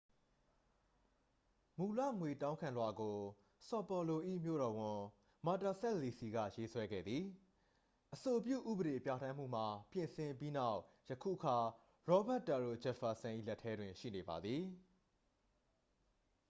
မူလ ငွေတောင်းခံလွှာကို ဆော်ပေါ်လို၏ မြို့တော်ဝန် မာတာစပ်လီစီ က ရေးဆွဲခဲ့သည် အဆိုပြု ဥပဒေပြဋ္ဌာန်းမှုမှာ ပြင်ဆင်ပြီးနောက် ယခုအခါ ရောဘတ်တရိုဂျက်ဖာစန် ၏ လက်ထဲတွင် ရှိနေပါသည်